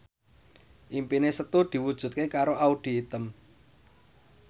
impine Setu diwujudke karo Audy Item